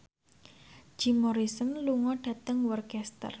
Jim Morrison lunga dhateng Worcester